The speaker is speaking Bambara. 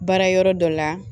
Baara yɔrɔ dɔ la